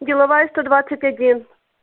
деловая сто двадцать один